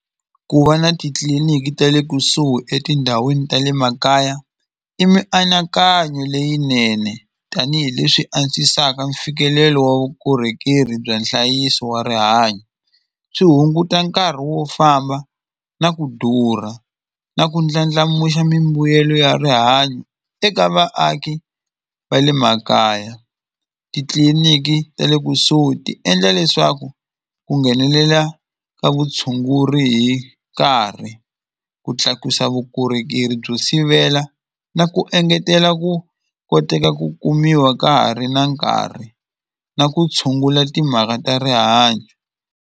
Ku va na titliliniki ta le kusuhi etindhawini ta le makaya i mianakanyo leyinene tanihileswi antswisaka mfikelelo wa vukorhokeri bya nhlayiso wa rihanyo swi hunguta nkarhi wo famba na ku durha na ku ndlandlamuxa mimbuyelo ya rihanyo eka vaaki va le makaya titliliniki ta le kusuhi ti endla leswaku ku nghenelela ka vutshunguri hi nkarhi ku tlakusa vukorhokeri byo sivela na ku engetela ku koteka ku kumiwa ka ha ri na nkarhi na ku tshungula timhaka ta rihanyo.